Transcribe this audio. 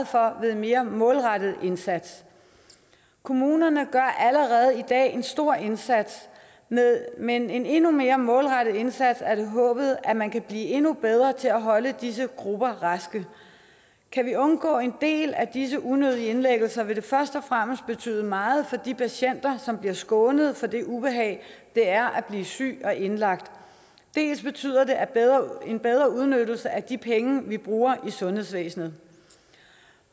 for ved en mere målrettet indsats kommunerne gør allerede i dag en stor indsats men med en endnu mere målrettet indsats er det håbet at man kan blive endnu bedre til at holde disse grupper raske kan vi undgå en del af disse unødige indlæggelser vil det først og fremmest betyde meget for de patienter som bliver skånet for det ubehag det er at blive syg og indlagt det betyder en bedre udnyttelse af de penge vi bruger i sundhedsvæsenet